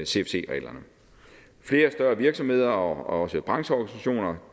cfc reglerne flere større virksomheder og også brancheorganisationer